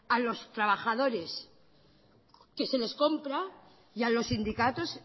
a los trabajadores que se les compra y a los sindicatos